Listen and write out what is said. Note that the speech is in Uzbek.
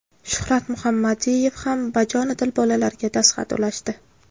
Shuhrat Muhammadiyev ham bajonidil bolalarga dastxat ulashdi.